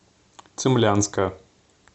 цимлянска